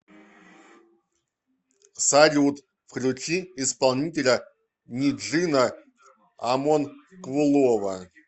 салют включи исполнителя ниджина амонкулова